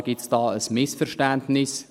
Offenbar gibt es da ein Missverständnis.